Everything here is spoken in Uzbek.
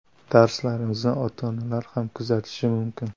Darslarimizni ota-onalar ham kuzatishi mumkin.